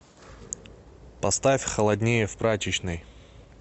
поставь холоднее в прачечной